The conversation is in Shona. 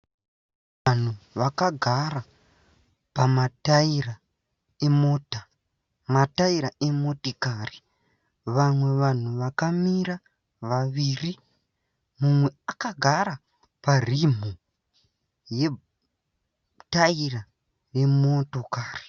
Vanhu vakagara pamataira emota, mataira emotikari vamwe vanhu vakamira vaviri mumwe akagara parimhu retaira remotokari.